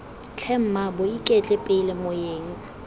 tlhe mmaabo iketle pele moeng